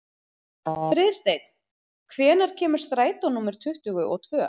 Friðsteinn, hvenær kemur strætó númer tuttugu og tvö?